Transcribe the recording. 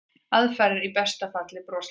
Aðfarirnar í besta falli broslegar.